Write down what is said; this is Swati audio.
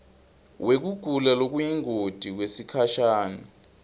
wekugula lokuyingoti kwesikhashana